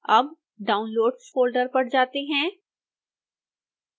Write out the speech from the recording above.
अब downloads folder पर जाते हैं